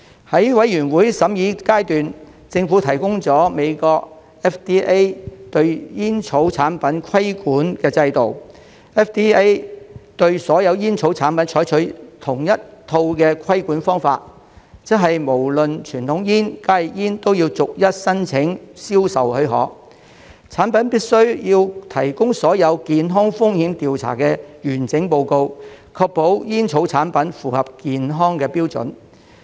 在法案委員會審議階段，政府提供了美國 FDA 對煙草產品的規管制度 ，FDA 對所有煙草產品採用同一套規管方法，即無論傳統煙或加熱煙都要逐一申請銷售許可，產品必須提供所有健康風險調查的完整報告，確保煙草產品符合健康標準。